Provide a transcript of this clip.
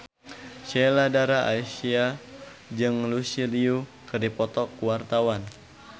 Sheila Dara Aisha jeung Lucy Liu keur dipoto ku wartawan